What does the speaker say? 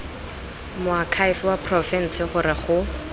moakhaefe wa porofense gore go